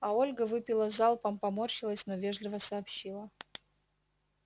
а ольга выпила залпом поморщилась но вежливо сообщила